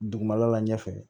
Dugumala la ɲɛfɛ